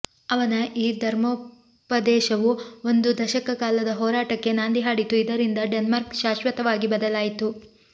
ಅವನ ಈ ಧರ್ಮೋಪದೇಶವು ಒಂದು ದಶಕ ಕಾಲದ ಹೋರಾಟಕ್ಕೆ ನಾಂದಿ ಹಾಡಿತು ಇದರಿಂದ ಡೆನ್ಮಾರ್ಕ್ ಶಾಶ್ವತವಾಗಿ ಬದಲಾಯಿತು